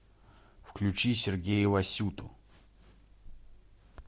включи сергея васюту